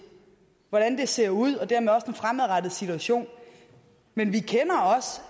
hvordan det ser ud og dermed også den fremadrettede situation men